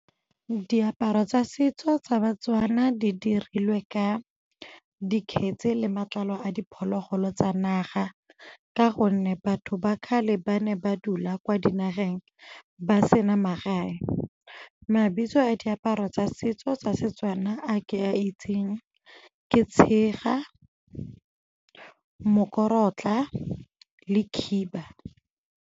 Diaparo tsa setso tsa ba-Tswana di dirilwe ka dikgetse le matlalo a diphologolo tsa naga ka gonne batho ba kgale ba ne ba dula kwa dinageng ba sena magae. Mabitso a diaparo tsa setso tsa Setswana a ke a itseng ke tshega, mokorotla le khiba.